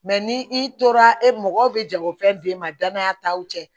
ni i tora e mɔgɔ bɛ jagofɛn d'e ma danaya taw cɛ